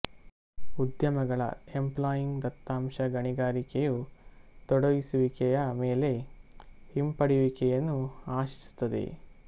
ಉದ್ಯಮಗಳ ಎಂಪ್ಲಾಯಿಂಗ್ ದತ್ತಾಂಶ ಗಣಿಗಾರಿಕೆಯು ತೊಡಗಿಸುವಿಕೆಯ ಮೇಲೆ ಹಿಂಪಡೆಯುವಿಕೆಯನ್ನು ಆಶಿಸುತ್ತದೆ